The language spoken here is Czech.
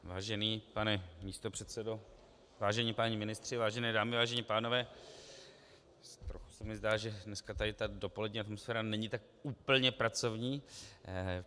Vážený pane místopředsedo, vážení páni ministři, vážené dámy, vážení pánové, trochu se mi zdá, že dneska tady ta dopolední atmosféra není tak úplně pracovní.